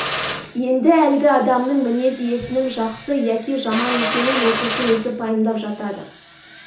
енді әлгі адамның мінез иесінің жақсы яки жаман екенін оқушы өзі пайымдап жатады